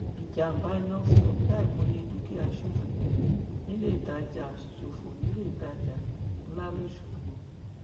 ìjàmbá iná fi ọkẹ àìmọye dúkìá ṣòfò níléetajà ṣòfò níléetajà ńlá lọsogbò